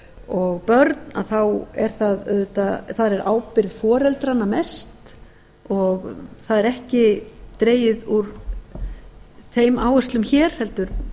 og börn að þar er ábyrgð foreldranna mest og það er ekki dregið úr þeim áherslum hér heldur